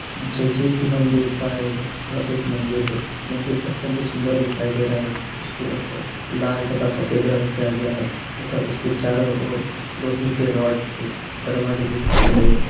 जैसे की हम देख पा रहे है यह एक मंदिर है मंदिर अत्यंत सुंदर दिखाई दे रहा है उस के ऊपर लाल तथा सफेद रंग किया गया है तथा उसके चारो ओर लोहा के रड के दरवाजा दिखाई दे रहे हैं।